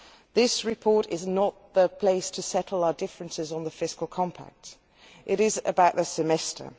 This report is not the place to settle our differences on the Fiscal Compact, it is about the European Semester.